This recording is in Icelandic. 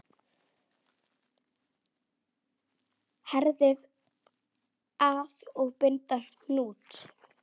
Herðið að og bindið hnút.